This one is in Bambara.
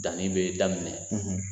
Dannin bɛ daminɛ